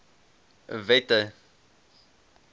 wette